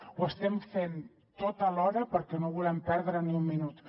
ho estem fent tot alhora perquè no volem perdre ni un minut